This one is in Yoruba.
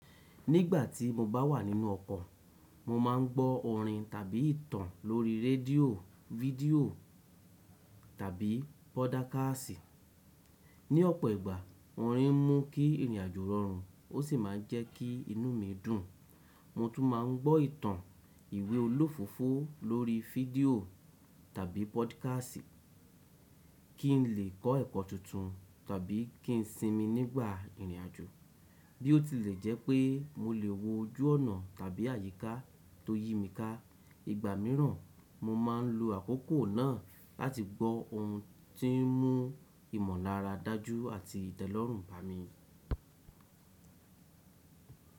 Nígbà tí mo bá wà nínú ọkọ̀, mo ma ń gbọ́ orin tàbí ìtàn lórí rédíò, fídíò tàbí pódákásì Ní ọ̀pọ̀ ìgbà, orin ń mú kí ìrìnàjò rọrùn ó sì máa ń jẹ́ kí inú mi dùn. Mo tún ma ń gbọ́ ìtàn, ìwé olófófó lórí fídíò tàbí pódákásìtì kí n lè kọ́ ẹ̀kọ́ tuntun tàbí kí n sinmi nígbà ìrìnàjò. Bí ó tilẹ̀ jẹ́ pé mo lè wo ojú ọ̀nà tàbí àyíká tó yí mi ká. Ìgbà míràn, mo ma ń lo àkókò náà láti gbọ́ ohun tí ń mú ìmọ̀lára dájú àti ìtẹ́lọ́rùn bá mi.